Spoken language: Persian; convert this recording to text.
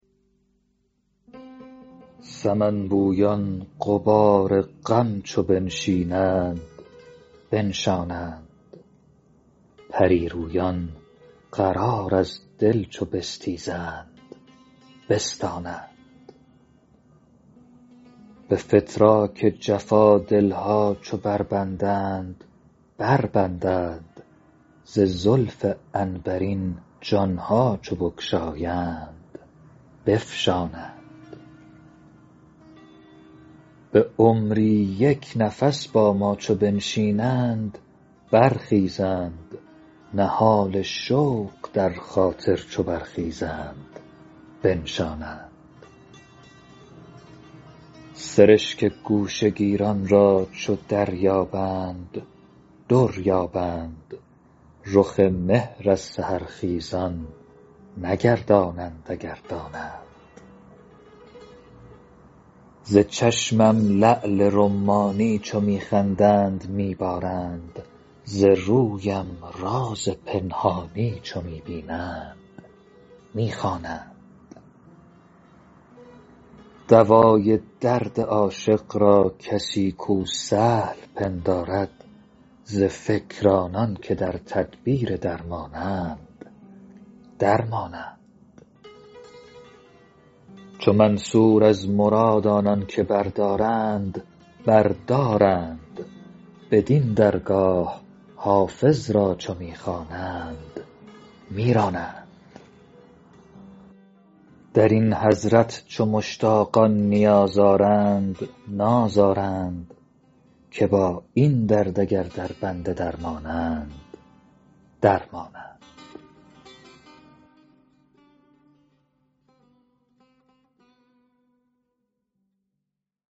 سمن بویان غبار غم چو بنشینند بنشانند پری رویان قرار از دل چو بستیزند بستانند به فتراک جفا دل ها چو بربندند بربندند ز زلف عنبرین جان ها چو بگشایند بفشانند به عمری یک نفس با ما چو بنشینند برخیزند نهال شوق در خاطر چو برخیزند بنشانند سرشک گوشه گیران را چو دریابند در یابند رخ مهر از سحرخیزان نگردانند اگر دانند ز چشمم لعل رمانی چو می خندند می بارند ز رویم راز پنهانی چو می بینند می خوانند دوای درد عاشق را کسی کو سهل پندارد ز فکر آنان که در تدبیر درمانند در مانند چو منصور از مراد آنان که بردارند بر دارند بدین درگاه حافظ را چو می خوانند می رانند در این حضرت چو مشتاقان نیاز آرند ناز آرند که با این درد اگر دربند درمانند در مانند